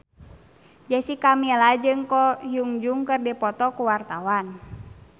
Jessica Milla jeung Ko Hyun Jung keur dipoto ku wartawan